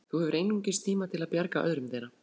Þú hefur einungis tíma til að bjarga öðrum þeirra.